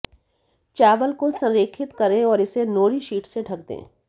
चावल को संरेखित करें और इसे नोरि शीट से ढक दें